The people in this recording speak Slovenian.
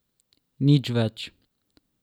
Nič več.